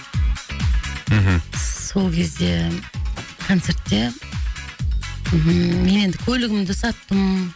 мхм сол кезде концертте і мен енді көлігімді саттым